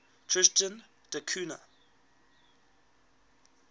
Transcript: tristan da cunha